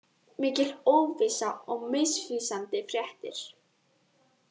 Mikil óvissa og misvísandi fréttir